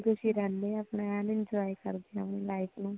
ਖੁਸ਼ੀ ਖੁਸ਼ੀ ਰਹਿਣੇ ਆ ਏਂ enjoy ਕਰਦੇ ਹੈ ਅਪਣੀ life ਨੂੰ